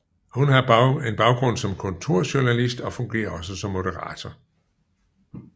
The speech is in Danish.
Hun har en baggrund som kulturjournalist og fungerer også som moderator